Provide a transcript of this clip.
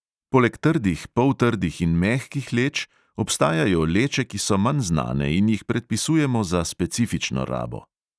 Poleg trdih, poltrdih in mehkih leč obstajajo leče, ki so manj znane in jih predpisujemo za specifično rabo.